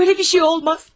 Belə bir şey olmaz.